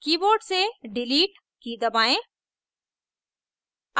keyboard से delete की दबाएं